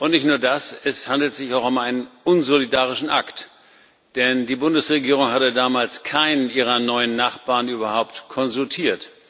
Nicht nur das, es handelt sich auch um einen unsolidarischen Akt, denn die Bundesregierung hatte damals keinen ihrer neun Nachbarn überhaupt konsultiert.